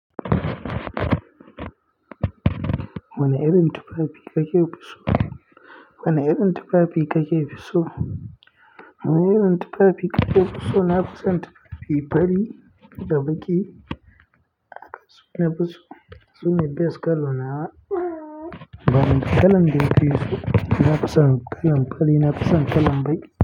Wane irin tufafi kake fi so? Wane irin tufafi kake fi so? Wane irin tufafi kake fi so? Na fi son tufafi fari da baƙi. Na fi so. Su ne best colour na, ba kalen da kake so? Na fi son kalan fari, na fi son kalan baƙi.